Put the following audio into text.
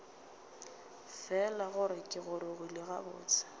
fela gore ke gorogile gabotse